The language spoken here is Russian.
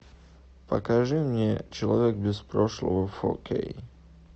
покажи мне человек без прошлого фо кей